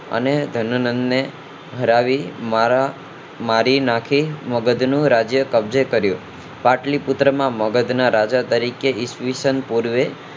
અને ધનાનંદ ને હરાવી મારા મારી નાખી મગધ નું રાજ્ય કબજે કર્યું પાટલી પુત્ર માં મગધ ના રાજા તરીકે ઈસ્વીસન પૂર્વે